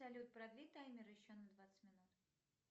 салют продли таймер еще на двадцать минут